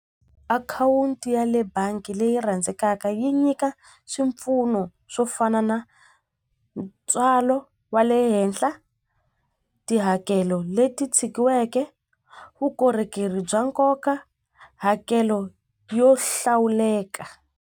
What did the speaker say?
Akhawunti ya le bangi leyi rhandzekaka yi nyika swipfuno swo fana na ntswalo wa le henhla tihakelo leti tshikiweke vukorhokeri bya nkoka hakelo yo hlawuleka.